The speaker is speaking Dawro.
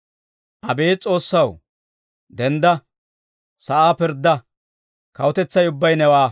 Abeet S'oossaw, dendda; sa'aa pirddaa; kawutetsay ubbay newaa.